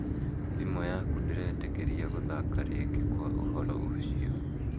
Thimũ yaku ndĩretĩkĩria gũthaka rĩngĩ kwa ũhoro ũcio